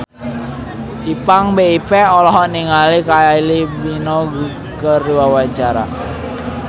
Ipank BIP olohok ningali Kylie Minogue keur diwawancara